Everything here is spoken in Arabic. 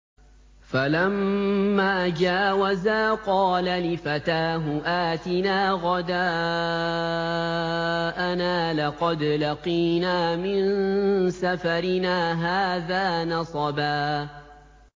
فَلَمَّا جَاوَزَا قَالَ لِفَتَاهُ آتِنَا غَدَاءَنَا لَقَدْ لَقِينَا مِن سَفَرِنَا هَٰذَا نَصَبًا